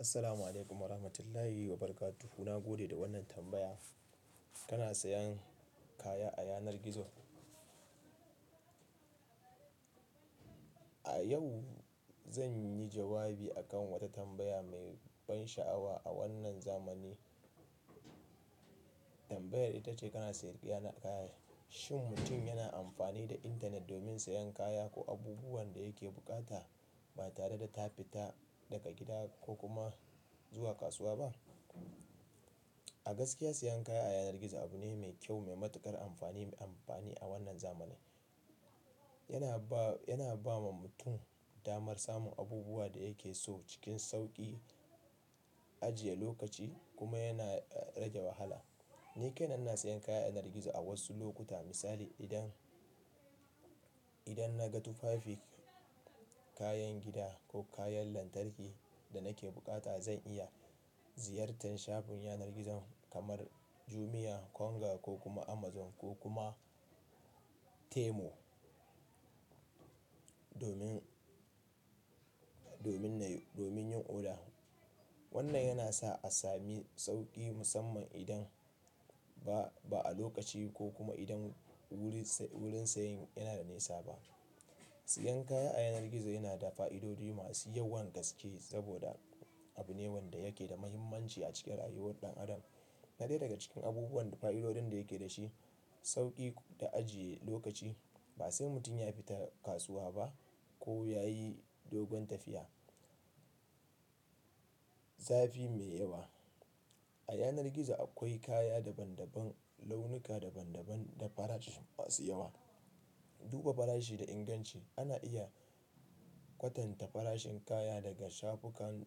Assalamu alaikum wa rahmatullahi wa barakatuhu. Na gode da wannan tambaya. Kana sayan kaya a yanar gizo? A yau zan yi jawabi a kan wata tambaya mai ban sha'awa a wannan zamani. Tambayar ita ce kana sayar da kaya. Shin mutum yana amfani da intanet domin sayen kaya ko abubuwan da yake bukata ba tare da ta fita daga gida ko kuma zuwa kasuwa ba? A gaskiya sayan kaya a yanar gizo abu ne mai kyau, mai matuƙar amfani, mai amfani a wannan zamani. Yana ba, yana ba ma mutum damar samun abubuwan da yake so cikin sauƙi, ajiye lokaci kuma yana rage wahala. Ni kaina ina sayan kaya a yanar gizo a wasu lokuta. Misali idan, idan na ga tufafi, kayan gida ko kayan lantarki da nake bukata zan iya ziyartar shafin yanar gizo kamar Jumia, Konga ko kuma Amazon ko kuma Temu domin, domin nayi, domin yin oda. Wannan yana sa a sami sauƙi musamman idan ba, ba a lokaci ko kuma idan wurin sayin yana da nisa ba. Siyan kaya a yanar gizo yana da fa'idodi masu yawan gaske saboda abu ne wanda yake da muhimmanci a cikin rayuwar ɗan adam. Na dai daga cikin abubuwan fa'idodin da yake da shi sauƙi da ajiye lokaci. Ba sai mutum ya fita kasuwa ba ko ya yi dogon tafiya. Zafi mai yawa. A yanar gizo akwai kaya daban daban, launuka daban daban da farashi masu yawa. Duba farashi da inganci. Ana iya kwatanta farashin kaya daga shafukan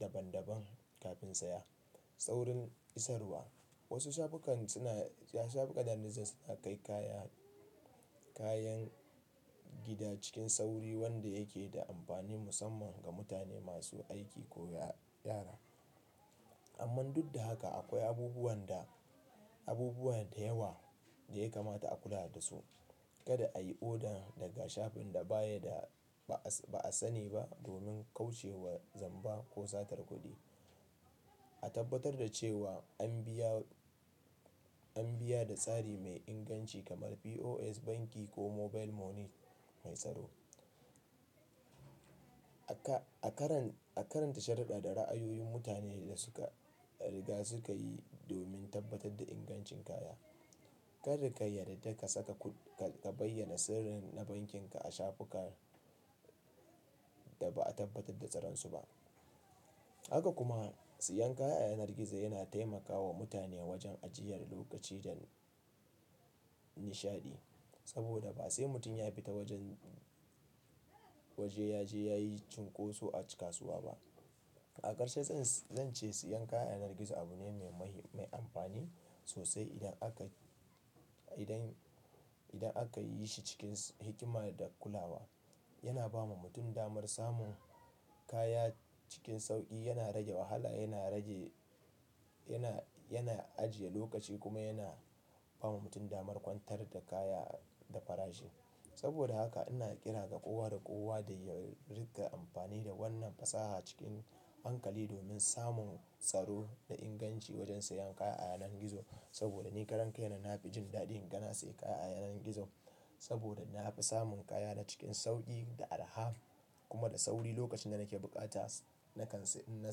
daban daban kafin saya. Saurin isarwa. Wasu shafukan suna, shafukan yanar gizo suna kai kaya, kayan gida cikin sauri wanda yake da amfani musamman ga mutane masu aiki ko yara. Amman duk da haka akwai abubuwan da abubuwa da yawa da ya kamata a kula da su. Kada a yi oda daga shafin da baya da, ba'a sani ba domin kauce wa zamba ko satar kuɗi. A tabbatar da cewa an biya, an biya da tsari mai inganci kamar POS banki ko mobile money mai tsaro. A karanta, a karanta sharɗaɗa ra'ayoyin mutanen da suka riga suka yi domin tabbatar da ingancin kaya. Kar ka yarda da ka saka kuɗi, ka bayyana sirrin na bankin ka a shafukan da ba'a tabbatar da tsarinsu ba. Haka kuma sayan kaya a yanar gizo yana taimakawa mutane wajen ajiyar lokaci da nishaɗi. Saboda ba sai mutum ya fita wajen, waje ya je ya yi cinkoso a cikin kasuwa ba. A karshe zan ce sayan kaya a yanar gizo abu ne mai amfani sosai idan aka, idan, idan aka yi shi cikin hikima da kulawa. Yana ba ma mutum damar samun kaya cikin sauƙi, yana rage wahala, yana rage, yana, yana ajiye lokaci kuma yana ba ma mutum damar kwantar da kaya da farashi. Saboda haka ina ƙira ga kowa da kowa da ya riƙa amfani da wannan fasaha cikin hankali domin samun tsaro da inganci wajen sayan kaya a yanar gizo. Saboda ni karan kai na, na fi jin daɗin gani sayan kaya a yanar gizo saboda na fi samun kaya na cikin sauƙi da arha kuma da sauri lokacin da nake bukata nakan in na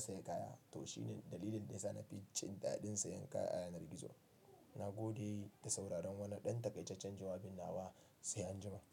sayi kaya. To shine dalilin da ya sa na fi jin daɗin sayan kaya a yanar gizo. Na gode da sauraron wannan ɗan takaicaccen jawabin nawa. Sai anjimanku.